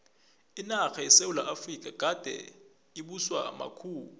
inarha yesewula efrika begade ibuswa makhuwa